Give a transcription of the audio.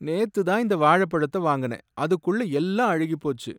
நேத்துதான் இந்த வாழைப்பழத்தை வாங்குனேன், அதுக்குள்ள எல்லாம் அழுகிப்போச்சு.